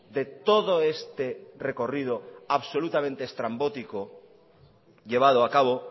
de todo este recorrido absolutamente estrambótico llevado a cabo